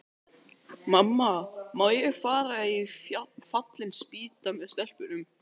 Mamma, má ég fara í Fallin spýta með stelpunum?